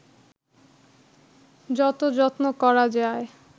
যত যত্ন করা যায়